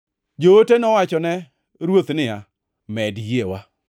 Joote nowachone Ruoth niya, “Med yiewa!”